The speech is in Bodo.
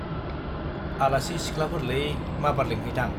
आलासि सिख्लाफोरलै , माबार लिंहैथां ।